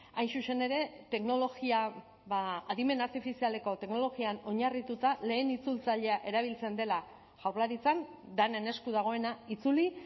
hain zuzen ere teknologia adimen artifizialeko teknologian oinarrituta lehen itzultzailea erabiltzen dela jaurlaritzan denen esku dagoena itzuli